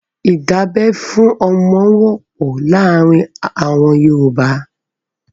ìdábẹ́ fún ọmọ wọ́pọ̀ láàárin àwọn Yorùbá.